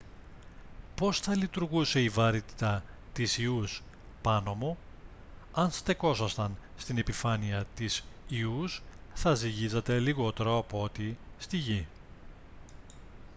πώς θα λειτουργούσε η βαρύτητα της ιούς πάνω μου; αν στεκόσασταν στην επιφάνεια της ιους θα ζυγίζατε λιγότερο από ό,τι στη γη